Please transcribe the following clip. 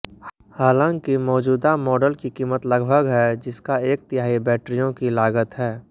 हालांकि मौजूदा मॉडल की कीमत लगभग है जिसका एक तिहाई बैटरियों की लागत है